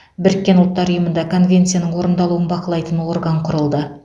біріккен ұлттар ұйымында конвенцияның орындалуын бақылайтын орган құрылды